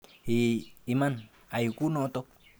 Eeh iman, ai kunoto.